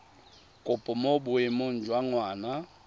kopo mo boemong jwa ngwana